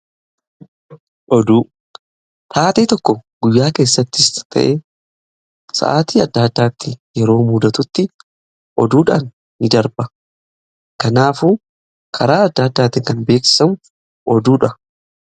oduu taatee tokko guyyaa keessatti ta'e sa'aati adda addaatti yeroo muudatutti oduudhaan in darba kanaafu karaa adda addaati kan beeksisan oduudha.